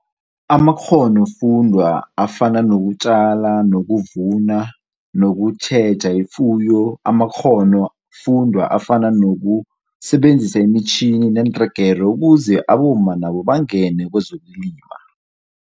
Amakghono-kufundwa afana nokutjala, nokuvuna, nokutjheja ifuyo, amakghono-fundwa afana nokusebenzisa imitjhini neentregere ukuze abomma nabo bangene kezokulima.